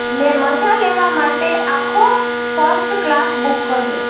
મેં મજા લેવા માટે આખો ફર્સ્ટ ક્લાસ બુક કર્યો